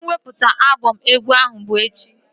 Mwepụta abọm egwu ahụ bụ echi